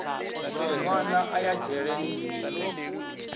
nwana a ya dzhele ni